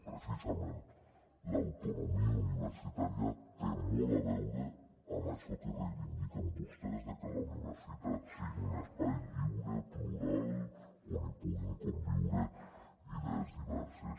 precisament l’autonomia universitària té molt a veure amb això que reivindiquen vostès que la universitat sigui un espai lliure plural on hi puguin conviure idees diverses